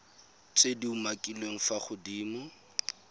tse di umakiliweng fa godimo